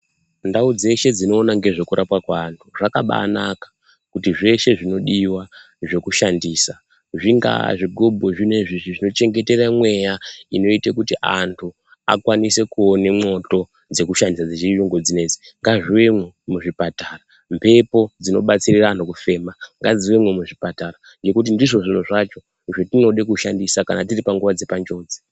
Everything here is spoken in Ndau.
Ndau dzeshe dzinoona ngezvekurapwa kweanhu zvakabaanaka kuti zveshe zvinodiwa zvekushandisa zvingaa zvigubhu zvino izvi zvinochengetere mweya inoite kuti anhu akwanise kuone mwoto dzekushandisa dzechiyungu dzinoidzi, ngazviuyemwo muzvipatara ,mhepo dzinobatsira anhu kufema ngadziuyemwo muchipatara nekuti ndizvo zviro zvacho zvatinode kushandisa kana tiri panguwa yepanjodzi.